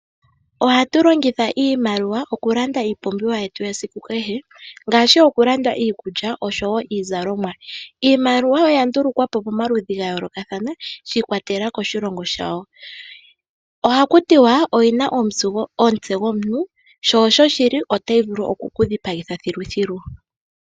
Ohatu longitha iimaliwa okulanda iipumbiwa yetu yesiku kehe ngaashi okulanda iikulya oshowo iizalonwa. Iimaliwa oya ndulukwa po pamaludhi ga yolokathana shi ikwatelela koshilongo shawo. Ohaku tiwa oyina omutse gomuntu, sho osho shili, otayi vulu okukudhipagitha thiluthilu.